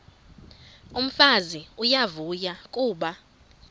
umfazi uyavuya kuba